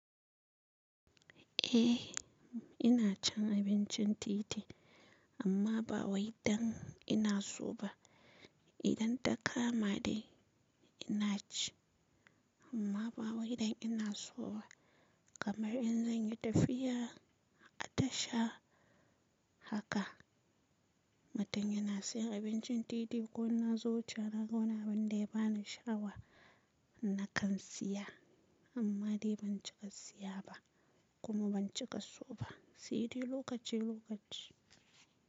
Eh, ina cin abincin titi amma ba waidan ina so ba. Idan ta kama dai ina ci amma ba waidan ina so ba. Kamar in zan yi tafiya a tasha haka, mutun yana siyar abincin titi ko in na zo wucewa na ga wani abin da ya bani sha'awa, na kan siya amma dai ban cika siya ba kuma ban cika so ba. Sai dai lokaci lokaci.